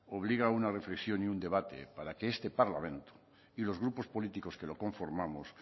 obliga a una reflexión y un debate para que este parlamento y los grupos políticos que lo conformamos